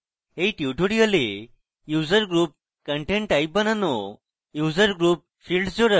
in tutorial user group content type বানানো